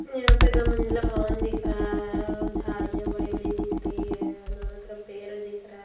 यहाँ पे दो मंजिला भवन दिख रहा है और झाड़ियां बड़ी-बड़ी दिख रही है दोनों तरफ पेड़ दिख रहे हैं।